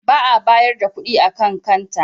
Ba a bayar da kuɗi a kan kanta.